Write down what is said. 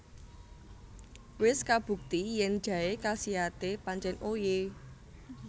Wis kabukti yen jaé kasiate pancen oye